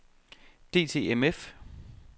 DTMF